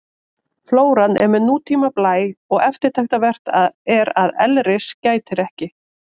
Flóran er með nútíma blæ og eftirtektarvert er að elris gætir ekki.